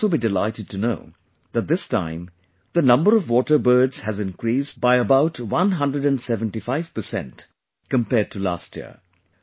You will also be delighted to know that this time the number of water birds has increased by about one hundred seventy five 175% percent compared to last year